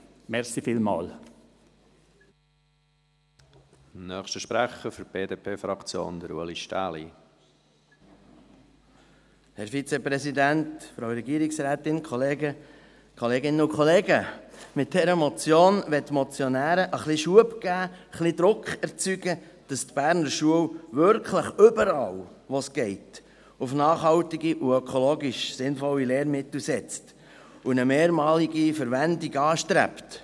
Mit dieser Motion wollen die Motionäre ein bisschen Schub geben, ein bisschen Druck erzeugen, damit die Berner Schulen wirklich überall, wo es geht, auf nachhaltige und ökologisch sinnvolle Lehrmittel setzen und eine mehrmalige Verwendung anstreben.